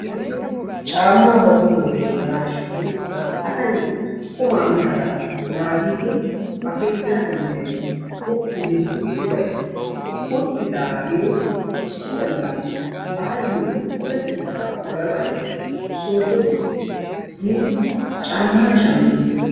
caammaa ba tohuwan wottanashin asay qumaa miyaaga naaggidi ba keettan geliddi qupu giidi utti bays, uttidaage issi galla baayyo qopetidaaba polanayyo sooddo yiidi caammaa shammidi ...